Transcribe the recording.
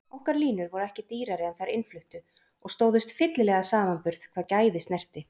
Okkar línur voru ekki dýrari en þær innfluttu og stóðust fyllilega samanburð hvað gæði snerti.